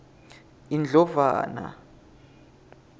indlovana